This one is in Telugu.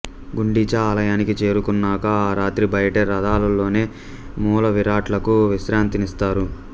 గుండీచా ఆలయానికి చేరుకున్నాక ఆ రాత్రి బయటే రథాల్లోనే మూలవిరాట్లకు విశ్రాంతినిస్తారు